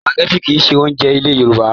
Sùpàgẹ́tì kìí ṣe oúnjẹ ilẹ̀ Yorùbá.